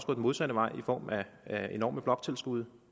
den modsatte vej i form af af enorme bloktilskud